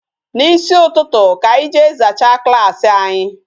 N'isi ụtụtụ ka anyi jee zachaa klaasị anyị